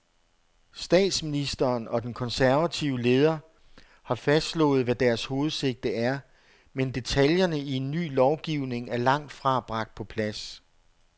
Statsministeren og den konservative leder har fastslået, hvad deres hovedsigte er, men detaljerne i en ny lovgivning er langt fra bragt på plads.